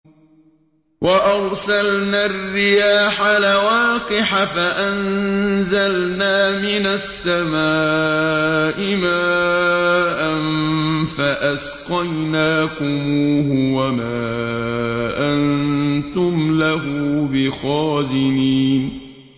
وَأَرْسَلْنَا الرِّيَاحَ لَوَاقِحَ فَأَنزَلْنَا مِنَ السَّمَاءِ مَاءً فَأَسْقَيْنَاكُمُوهُ وَمَا أَنتُمْ لَهُ بِخَازِنِينَ